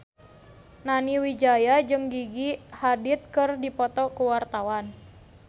Nani Wijaya jeung Gigi Hadid keur dipoto ku wartawan